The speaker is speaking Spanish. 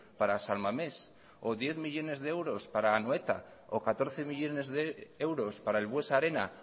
para san mames o diez millónes de euros para anoeta o catorce millónes de euros para el buesa arena